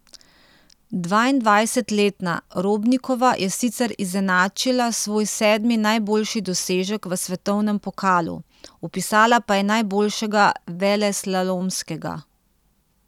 Dvaindvajsetletna Robnikova je sicer izenačila svoj sedmi najboljši dosežek v svetovnem pokalu, vpisala pa je najboljšega veleslalomskega.